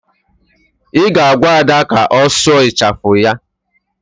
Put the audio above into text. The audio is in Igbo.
Ị ga-agwa Ada ka ọ sụọ ịchafụ ya